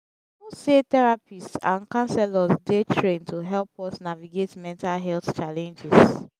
who say therapist and counsellor dey trained to help us navigate mental health challenges